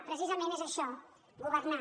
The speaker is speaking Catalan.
precisament és això governar